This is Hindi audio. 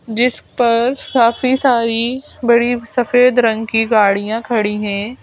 जिस पर काफी सारी बड़ी सफेद रंग की गाड़ियां खड़ी हैं।